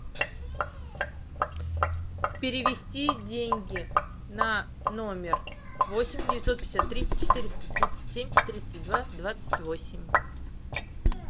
перевести деньги на номер восемь девятьсот пятьдесят три четыреста тридцать семь тридцать два двадцать восемь